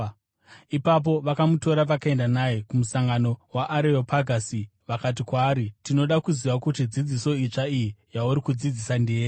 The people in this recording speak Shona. Ipapo vakamutora vakaenda naye kumusangano weAreopagasi, vakati kwaari, “Tinoda kuziva kuti dzidziso itsva iyi yauri kudzidzisa ndeyei?